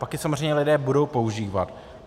Pak je samozřejmě lidé budou používat.